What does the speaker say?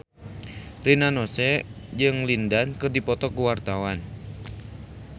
Rina Nose jeung Lin Dan keur dipoto ku wartawan